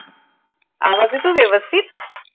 आवाज येतोय व्यवस्थित?